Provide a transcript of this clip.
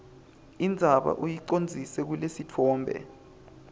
indzaba uyicondzise kulesitfombe